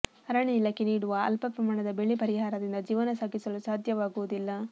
ಅರಣ್ಯ ಇಲಾಖೆ ನೀಡುವ ಅಲ್ಪ ಪ್ರಮಾಣದ ಬೆಳೆ ಪರಿಹಾರದಿಂದ ಜೀವನ ಸಾಗಿಸಲು ಸಾಧ್ಯವಾಗುವುದಿಲ್ಲ